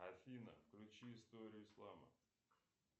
афина включи историю ислама